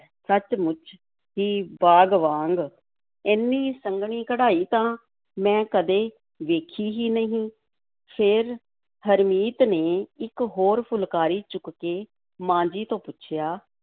ਸੱਚ-ਮੁੱਚ ਹੀ ਬਾਗ਼ ਵਾਂਗ, ਏਨੀ ਸੰਘਣੀ ਕਢਾਈ ਤਾਂ ਮੈ ਕਦੇ ਵੇਖੀ ਹੀ ਨਹੀਂ, ਫਿਰ ਹਰਮੀਤ ਨੇ ਇੱਕ ਹੋਰ ਫੁਲਕਾਰੀ ਚੁੱਕ ਕੇ ਮਾਂ ਜੀ ਤੋਂ ਪੁੱਛਿਆ,